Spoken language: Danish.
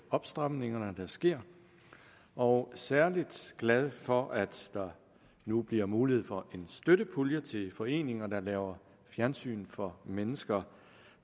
opstramninger der sker og særlig glade for at der nu bliver mulighed for at få en støttepulje til foreninger der laver fjernsyn for mennesker